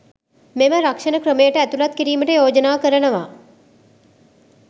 මෙම රක්ෂණ ක්‍රමයට ඇතුළත් කිරීමට යෝජනා කරනවා